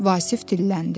Vasif dilləndi.